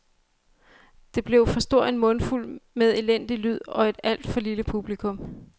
Det blev for stor en mundfuld med elendig lyd og et alt for lille publikum .